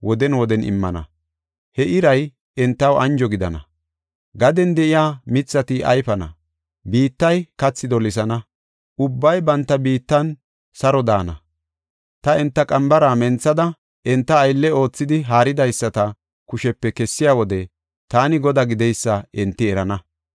Gaden de7iya mithati ayfana; biittay kathi dolisana; ubbay banta biittan saro daana. Ta enta qambara menthada, enta aylle oothidi haaridaysata kushepe kessiya wode taani Godaa gideysa enti erana.